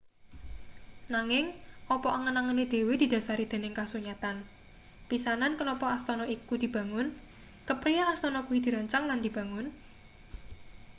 nanging apa angen-angene dhewe didhasari dening kasunyatan pisanan kenapa astana iku dibangun kepriye astana kuwi dirancang lan dibangun